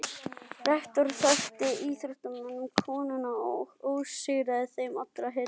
Rektor þakkaði íþróttamönnum komuna og óskaði þeim allra heilla.